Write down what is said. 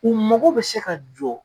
U mago bɛ se ka jɔ